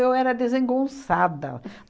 era desengonçada.